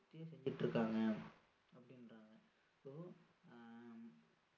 ரத்தே செஞ்சிட்டு இருக்காங்க அப்படின்றாங்க so ஆஹ்